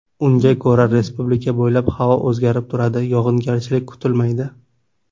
Unga ko‘ra, Respublika bo‘ylab havo o‘zgarib turadi, yog‘ingarchilik kutilmaydi.